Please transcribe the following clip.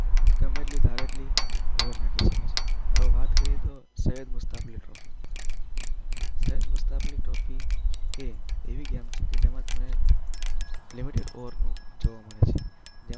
ગમે એટલી ધારે એટલી ઓવર નાખી શકે છે. અમ વાત કરીએ તો સૈયદ મુસ્તાક અલી ટ્રોફીની સૈયદ મુસ્તાક અલી ટ્રોફી એ એવી ગેમ છે જેમાં તમને લિમિટેડ ઓવર જોવા મળે છે.